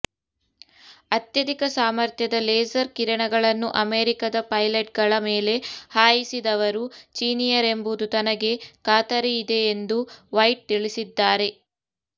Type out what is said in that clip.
ಅತ್ಯಧಿಕ ಸಾಮರ್ಥ್ಯದ ಲೇಸರ್ ಕಿರಣಗಳನ್ನು ಅಮೆರಿಕದ ಪೈಲಟ್ಗಳ ಮೇಲೆ ಹಾಯಿಸಿದವರು ಚೀನಿಯರೆಂಬುದು ತನಗೆ ಖಾತರಿಯಿದೆಯೆಂದು ವೈಟ್ ತಿಳಿಸಿದ್ದಾರೆ